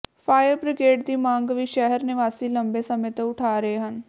fire brigade ਦੀ ਮੰਗ ਵੀ ਸ਼ਹਿਰ ਨਿਵਾਸੀ ਲੰਮੇ ਸਮੇਂ ਤੋਂ ਉਠਾ ਰਹੇ ਹਨ